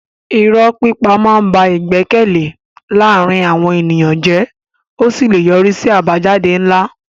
Irọ́ pípa máa ń ba ìgbẹ́kẹ̀lé láàárín àwọn ènìyàn jẹ́ ó sì lè yọrí sí àbájáde ńlá.